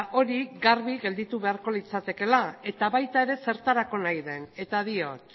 hori garbi gelditu beharko litzateke eta baita zertarako nahi den ere eta